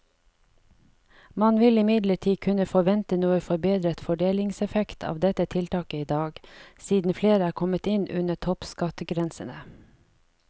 Man vil imidlertid kunne forvente noe forbedret fordelingseffekt av dette tiltaket i dag, siden flere er kommet inn under toppskattgrensene.